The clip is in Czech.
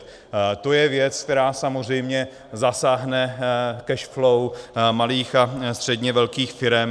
To je věc, která samozřejmě zasáhne cash flow malých a středně velkých firem.